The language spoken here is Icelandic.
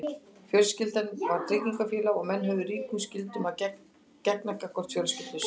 fjölskyldan var tryggingafélag og menn höfðu ríkum skyldum að gegna gagnvart fjölskyldum sínum